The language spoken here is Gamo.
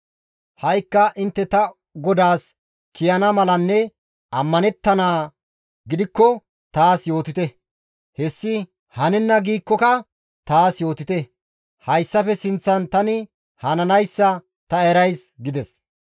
Ha7ikka intte ta godaas kiyana malanne ammanettanaa gidikko taas yootite; hessi hanenna giikkoka taas yootite; hessafe guye tani hananayssa ta erays» gides.